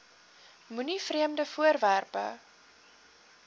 moenie vreemde voorwerpe